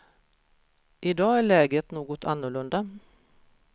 I dag är läget något annorlunda.